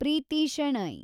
Preethi Shenoy